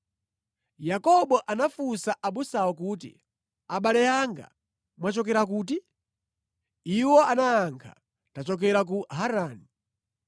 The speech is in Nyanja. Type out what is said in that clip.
Yakobo anafunsa abusawo kuti, “Abale anga, mwachokera kuti?” Iwo anayankha, “Tachokera ku Harani.”